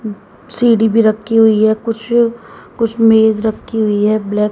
सीढ़ी भी रखी हुई है कुछ कुछ मेज रखी हुई है ब्लैक --